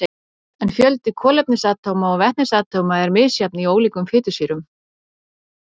en fjöldi kolefnisatóma og vetnisatóma er misjafn í ólíkum fitusýrum